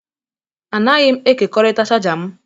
Anaghị m ekekọrịta chaja m